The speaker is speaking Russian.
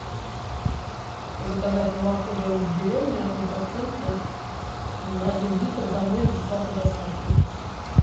заказать молоко домик в деревне однопроцентное один литр домой с бесплатной доставкой